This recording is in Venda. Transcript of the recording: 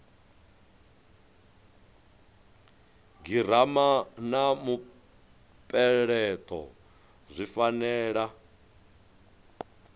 girama na mupeleto zwi fanela